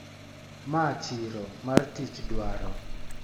Ma chiro mar tich dwaro.